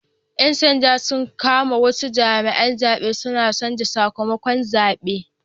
Yan sanda sun kama wasu jami'an zabe suna canza sakamakon zabe